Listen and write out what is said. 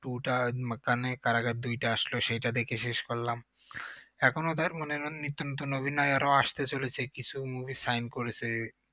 Two টা কারাগার দুইটা আসলো সেইটা দেখে শেষ করলাম এখনো মানে নিত্য নতুন অভিনয়েরও আসতে চলেছে কিছু movie sign করেছে